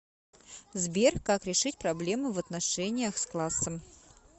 сбер как решить проблемы в отношениях с классом